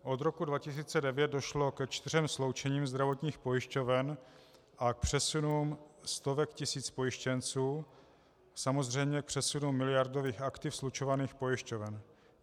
Od roku 2009 došlo ke čtyřem sloučením zdravotních pojišťoven a k přesunům stovek tisíc pojištěnců, samozřejmě k přesunu miliardových aktiv slučovaných pojišťoven.